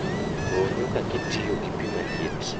Ruu nyuka kitiyogi pii maliet